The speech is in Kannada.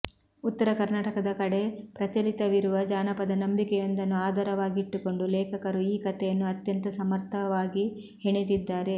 ಉತ್ತರ ಕರ್ನಾಟಕದ ಕಡೆ ಪ್ರಚಲಿತವಿರುವ ಜಾನಪದ ನಂಬಿಕೆಯೊಂದನ್ನು ಆಧಾರವಾಗಿಟ್ಟುಕೊಂಡು ಲೇಖಕರು ಈ ಕಥೆಯನ್ನು ಅತ್ಯಂತ ಸಮರ್ಥವಾಗಿ ಹೆಣೆದಿದ್ದಾರೆ